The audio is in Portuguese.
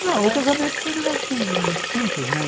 Não, o casamento foi um negócio assim, muito simples, né?